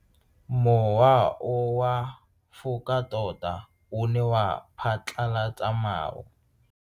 Mowa o wa go foka tota o ne wa phatlalatsa maru.